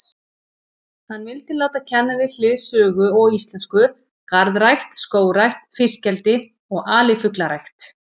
Hann vildi láta kenna við hlið sögu og íslensku garðrækt, skógrækt, fiskeldi og alifuglarækt.